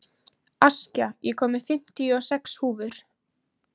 Askja, ég kom með fimmtíu og sex húfur!